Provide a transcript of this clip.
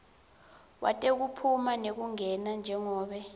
wetekuphuma nekungena njengobe